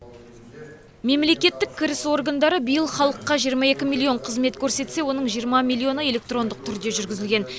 мемлекеттік кіріс органдары биыл халыққа жиырма екі миллион қызмет көрсетсе оның жиырма миллионы электрондық түрде жүргізілген